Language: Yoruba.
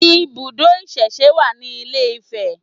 Ibùdó ìsẹ̀se wà ní ilé-Ifẹ̀